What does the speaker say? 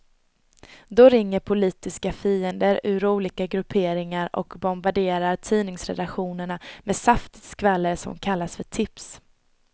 Då ringer politiska fiender ur olika grupperingar och bombarderar tidningsredaktionerna med saftigt skvaller som kallas för tips.